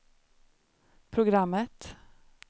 programmet